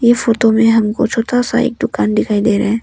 Photo में हमको छोटा सा एक दुकान दिखाई दे रहा है।